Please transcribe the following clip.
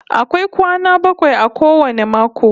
Akwai kwana bakwai a kowane mako